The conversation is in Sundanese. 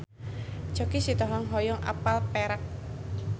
Choky Sitohang hoyong apal Perak